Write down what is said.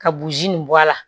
Ka buruji nin bɔ a la